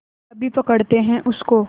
अभी पकड़ते हैं उनको